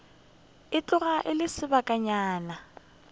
e tloga e le sebakanyana